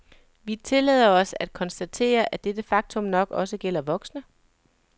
Vi tillader os at konstatere, at dette faktum nok også gælder voksne.